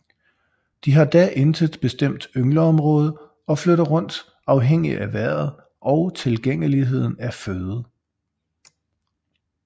De har da intet bestemt yngleområde og flytter rundt afhængig af vejret og tilgængeligheden af føde